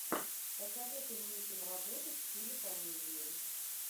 посоветуй мне киноработу в стиле комедии